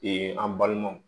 an balimaw